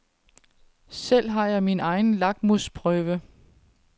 Selv har jeg min egen lakmusprøve.